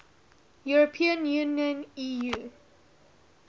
european union eu